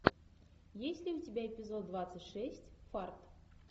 есть ли у тебя эпизод двадцать шесть фарт